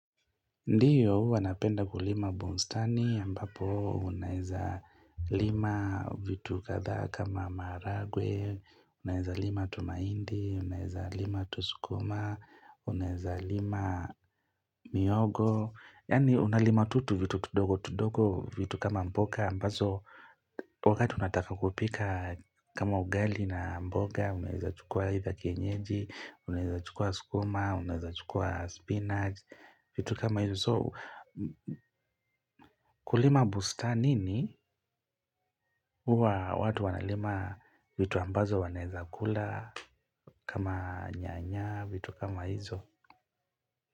Ndiyo, huwa napenda kulima bustani, ambapo unaweza lima vitu kadhaaa kama maragwe, unaweza lima tumaindi, unaiza lima tusukuma, unaiza lima mihogo, yani una lima tutu vitu tudogo tudogo vitu kama mboga, ambazo wakati unataka kupika kama ugali na mboga, unaweza chukua hii za kenyeji, unaweza chukua sukuma, unaweza chukua spinach, vitu kama hizo. So kulima bustanini huwa watu wanalima vitu ambazo wanaweza kula kama nyanya vitu kama hizo.